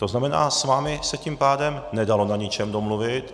To znamená, s vámi se tím pádem nedalo na ničem domluvit.